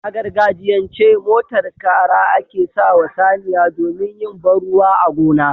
A gargajiyan ce, motar Kara ake sawa saniya domin yin banruwa a gona